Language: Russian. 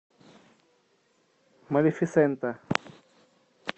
малефисента